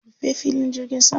Rufe filin jirgin saman.